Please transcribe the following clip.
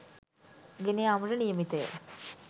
ගෙන යාමට නියමිතය.